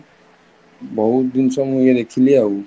ବହୁତ ଜିନିଷ ମୁଁ ଦେଖିଲି ଆଉ